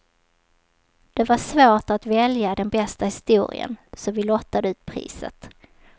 Det var svårt att välja den bästa historien, så vi lottade ut priset.